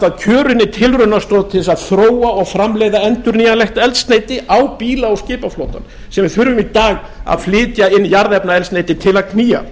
að þróa og framleiða endurnýjanlegt eldsneyti á bíla og skipaflotann sem við þurfum í dag að flytja inn jarðefnaeldsneyti til að knýja